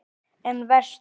En vestur?